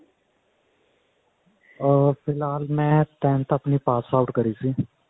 ਅਹ ਫਿਲਹਾਲ ਮੈਂ ਆਪਣੀ tenth ਆਪਣੀ ਪਾਸ out ਕਰੀ ਸੀ